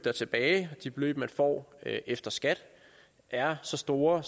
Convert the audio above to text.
er tilbage de beløb man får efter skat er så store